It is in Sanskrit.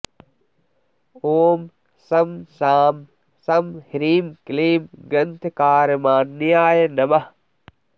ॐ शं शां षं ह्रीं क्लीं ग्रन्थकारमान्याय नमः